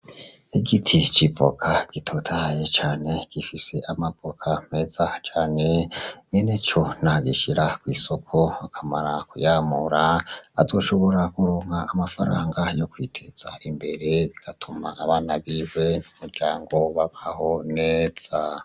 Igiti c'ivoka gitotahaye cane. Gifise amavoka meza cane, nyeneco niyagishira kw'isoko akamara kuyamura, azoshora kuronka amafaranga yo kwiteza imbere, bigatuma abana biwe n'umuryango babaho neza.